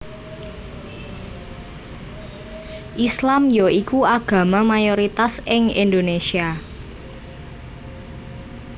Islam ya iku agama mayoritas ing Indonesia